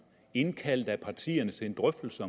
indkald da partierne til en drøftelse